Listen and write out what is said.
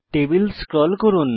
table scroll করুন